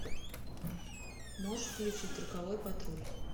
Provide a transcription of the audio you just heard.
можешь включить роковой патруль